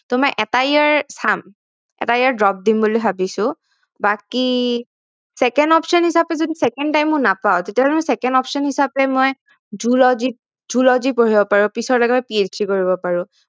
so এটা year মই চাম এটা year drop দিম বুলি ভাবিছো বাকি second option হিচাপে যদি second time ও নাপাও তেতিয়াহলে মই second option হিচাপে মই zoology পঢ়িব পাৰো পিছত লাগিলে মই PLC কৰিব পাৰো